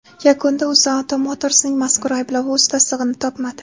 Yakunda UzAuto Motors’ning mazkur ayblovi o‘z tasdig‘ini topmadi .